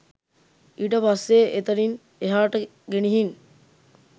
ඊට පස්සේ එතනින් එහාට ගෙනිහින්